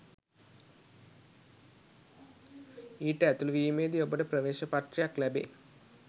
ඊට ඇතුළු වීමේදී ඔබට ප්‍රවේශ පත්‍රයක්‌ ලැබෙ